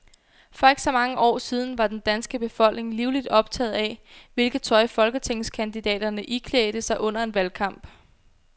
For ikke så mange år siden var den danske befolkning livligt optaget af, hvilket tøj folketingskandidaterne iklædte sig under en valgkamp.